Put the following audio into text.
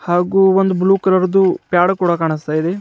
ಹಾಗು ಒಂದು blue colour ದು ಪ್ಯಾಡು ಕೂಡ ಕಾಣಿಸ್ತಾ ಇದೆ.